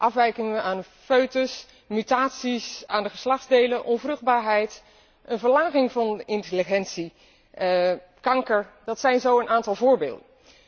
afwijkingen aan de foetus, mutaties aan de geslachtsdelen, onvruchtbaarheid, een verlaging van intelligentie en kanker, dat zijn zo een aantal voorbeelden.